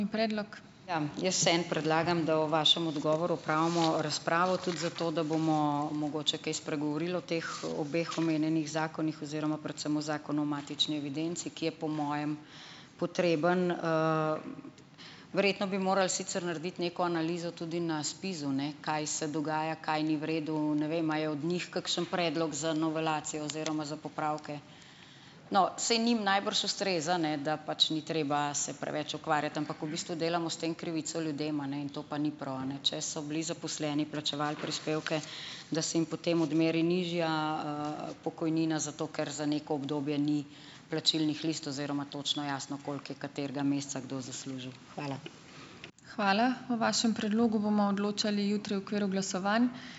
Ja, jaz vseeno predlagam, da o vašem odgovoru opravimo razpravo, tudi zato, da bomo mogoče kaj spregovorili o teh obeh omenjenih zakonih oziroma predvsem o zakonu o matični evidenci, ki je po mojem potreben. Verjetno bi morali sicer narediti neko analizo tudi na ZPIZ-u, ne, kaj se dogaja, kaj ni v redu - ne vem, a je od njih kakšen predlog za novelacijo oziroma za popravke? No, saj njim najbrž ustreza, ne, da pač ni treba se preveč ukvarjati, ampak v bistvu delamo s tem krivico ljudem, a ne, in to pa ni prav, a ne. Če so bili zaposleni, plačevali prispevke, da se jim potem odmeri nižja, pokojnina zato, ker za neko obdobje ni plačilnih list oziroma točno jasno, koliko je katerega meseca kdo zaslužil. Hvala.